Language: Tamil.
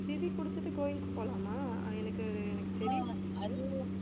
திதி கொடுத்துட்டு கோயிலுக்கு போலாமா அஹ் எனக்கு அது எனக்கு தெரியல